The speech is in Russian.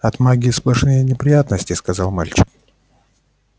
от магии сплошные неприятности сказал мальчик